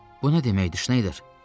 Bu nə deməkdir, Şneyder?